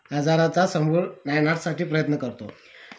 आजाराचा समूळ नायनाट साठी प्रयत्न करतो